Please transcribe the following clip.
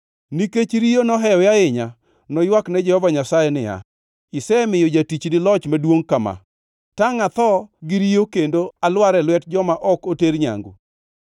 Nikech riyo nohewe ahinya, noywak ne Jehova Nyasaye niya, “Isemiyo jatichni loch maduongʼ kama. Tangʼ atho gi riyo kendo alwar e lwet joma ok oter nyangu?”